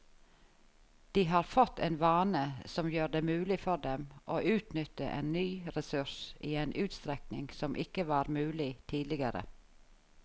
De har fått en vane som gjør det mulig for dem å utnytte en ny ressurs i en utstrekning som ikke var mulig tidligere.